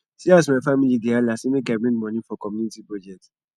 see as my family dey hala sey make i bring moni for community project